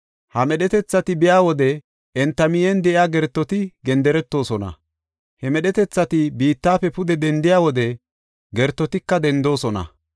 Ha medhetethati biya wode, enta miyen de7iya gertoti genderetoosona. He medhetethati biittafe pude dendiya wode gertotika dendoosona.